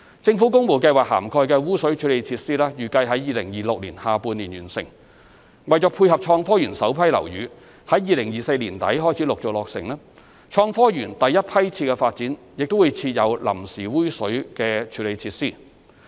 政府工務計劃涵蓋的污水處理設施預計在2026年下半年完成，為配合創科園首批樓宇在2024年年底開始陸續落成，創科園第一批次發展亦會設有臨時污水處理設施。